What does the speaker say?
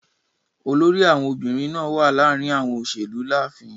Olórí àwọn obìrin naa wa láàrin àwọn òṣèlú láàfin.